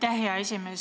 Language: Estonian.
Aitäh, hea esimees!